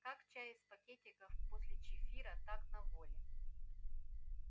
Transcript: как чай из пакетиков после чифира так на воле